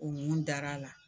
O mun dar'a la